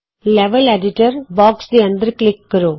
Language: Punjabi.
ਲੈਵਲ ਐਡੀਟਰ ਬੌਕਸ ਦੇ ਅੰਦਰ ਕਲਿਕ ਕਰੋ